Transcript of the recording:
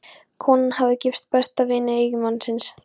Konan hafði gifst besta vini eiginmannsins.